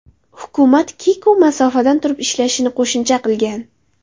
Hukumat Kiku masofadan turib ishlashini qo‘shimcha qilgan.